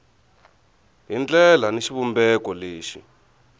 hi ndlela ni xivumbeko lexi